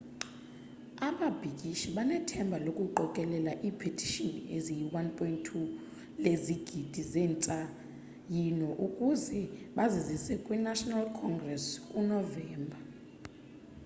ababhikishi banethemba lokuqokelela ipetishini eziyi 1.2 lezigidi zentsayino ukuze bazizise kwi national congress ku novemba